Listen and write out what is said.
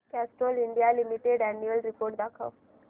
Castrol India limited annual report दाखव